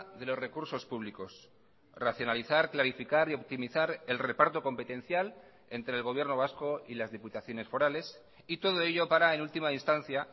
de los recursos públicos racionalizar clarificar y optimizar el reparto competencial entre el gobierno vasco y las diputaciones forales y todo ello para en última instancia